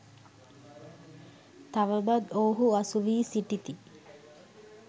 තවමත් ඔව්හු අසුවී සිටිති